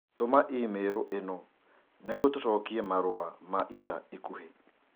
Tũma i-mīrū ĩno nĩguo tũcokie marũa ma ica ikuhĩ